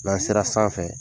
N'an sera sanfɛ